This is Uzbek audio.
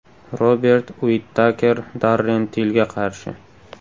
Robert Uittaker Darren Tillga qarshi.